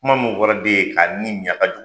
Kuma mun fɔra den ye ka ni mi , a ka jugu